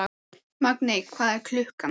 Magney, hvað er klukkan?